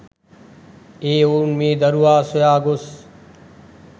ඒ ඔවුන් මේ දරුවා සොයා ගොස්